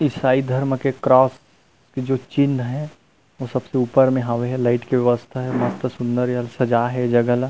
ईसाई धर्म के क्रोस के जो चिन्ह है वो सब के ऊपर में हवे है लाइट के व्यवस्था है मस्त सूंदर है सजाए हे जगह ला --